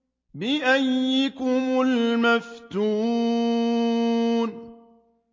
بِأَييِّكُمُ الْمَفْتُونُ